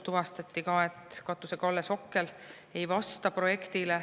Tuvastati ka, et katuse kalle ja sokkel ei vasta projektile.